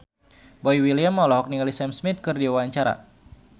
Boy William olohok ningali Sam Smith keur diwawancara